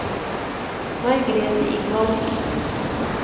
Margrete Ingvaldsen